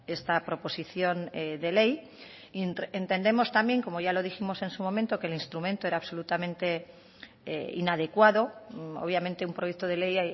esta proposición de ley y entendemos también como ya lo dijimos en su momento que el instrumento era absolutamente inadecuado obviamente un proyecto de ley